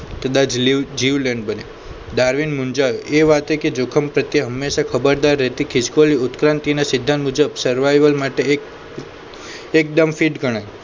કદાચ જીવલેણ બને ડાર્વિન મુંજાઓ એ વાતે કે જોખમ પ્રત્યે હંમેશા ખબરદાર રહેતી ખિસકોલી ઉત્ક્રાંતિના સિદ્ધાંત મુજબ survival માટે એક એકદમ ફીટ ગણાય